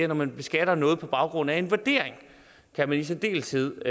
når man beskatter noget på baggrund af en vurdering kan man i særdeleshed